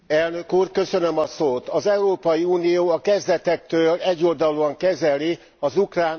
Az Európai Unió a kezdetektől egyoldalúan kezeli az ukrán orosz konfliktust.